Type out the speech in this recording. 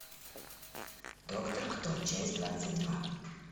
доктор кто часть двадцать два